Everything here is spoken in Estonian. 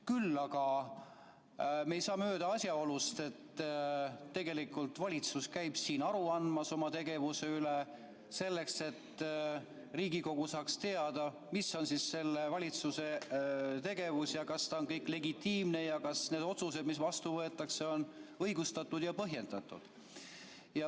Küll aga me ei saa mööda asjaolust, et valitsus käib siin oma tegevusest aru andmas, selleks et Riigikogu saaks teada, mis on valitsuse tegevus, kas kõik on legitiimne ja kas need otsused, mis vastu võetakse, on õigustatud ja põhjendatud.